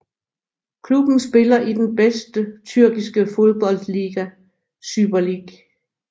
Klubben spiller i den bedste Tyrkiske fodboldliga Süper Lig